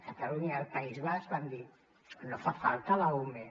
catalunya i el país basc van dir no fa falta l’ume